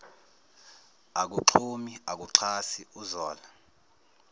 akaxhumi akaxhasi uzola